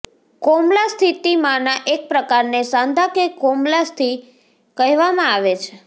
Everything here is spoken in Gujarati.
કોમલાસ્થિમાંના એક પ્રકારને સાંધા કે કોમલાસ્થિ કહેવામાં આવે છે